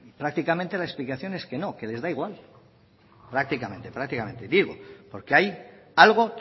prácticamente la explicación es que no que les da igual prácticamente prácticamente digo porque hay algo